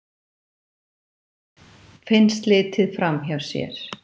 Finnst litið framhjá sér